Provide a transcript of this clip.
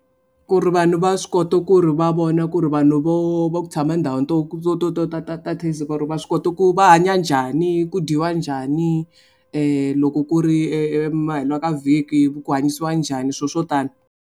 Ku ri vanhu va swi kota ku ri va vona ku ri vanhu vo va ku tshama endhawini to to to to ta ta ta ta va swi kota ku va hanya njhani ku dyiwa njhani loko ku ri ka vhiki ku hanyisiwa njhani swilo swo tani.